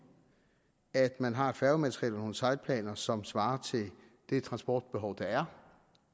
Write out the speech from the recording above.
at man har et færgemateriel og nogle sejlplaner som svarer til det transportbehov der er